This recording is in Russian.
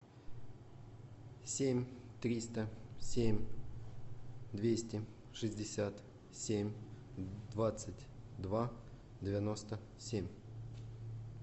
семь триста семь двести шестьдесят семь двадцать два девяносто семь